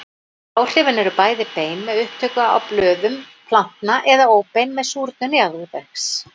Áhrifin eru bæði bein með upptöku á blöðum plantna eða óbein með súrnun jarðvegs.